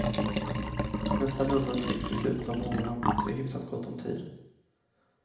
Nästa nummer trycks i slutet av månaden så det är hyfsat gott om tid.